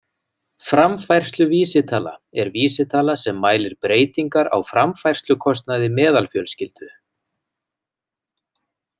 Framfærsluvísitala er vísitala sem mælir breytingar á framfærslukostnaði meðalfjölskyldu.